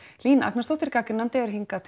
Hlín Agnarsdóttir gagnrýnandi er hingað